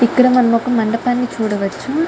ఇక్క్కడ మనం ఒక మండపాని చూడవచు.